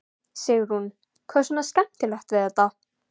Sigrún: Hvað er svona skemmtilegt við þetta?